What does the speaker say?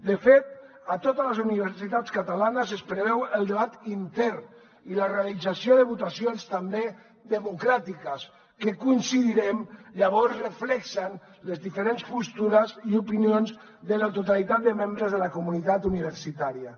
de fet a totes les universitats catalanes es preveu el debat intern i la realització de votacions també democràtiques que hi coincidirem llavors reflecteixen les diferents postures i opinions de la totalitat de membres de la comunitat universitària